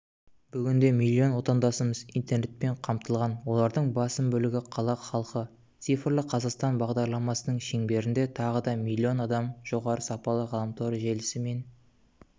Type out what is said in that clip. бүгінде миллион отандасымыз интернетпен қамтылған олардың басым бөлігі қала халқы цифрлы қазақстан бағдарламасының шеңберінде тағы миллион адамды жоғары сапалы ғаламтор желісімен